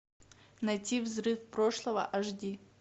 найти взрыв прошлого аш ди